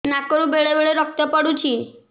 ନାକରୁ ବେଳେ ବେଳେ ରକ୍ତ ପଡୁଛି